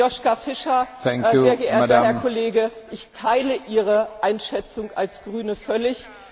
Zu Joschka Fischer, sehr geehrter Herr Kollege Ich teile Ihre Einschätzung als Grüne völlig.